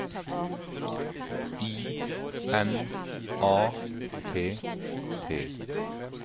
I N A T T